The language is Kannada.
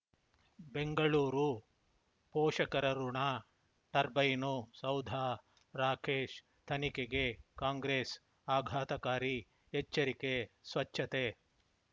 ಬೆಂಗಳೂರು ಪೋಷಕರಋಣ ಟರ್ಬೈನು ಸೌಧ ರಾಕೇಶ್ ತನಿಖೆಗೆ ಕಾಂಗ್ರೆಸ್ ಆಘಾತಕಾರಿ ಎಚ್ಚರಿಕೆ ಸ್ವಚ್ಛತೆ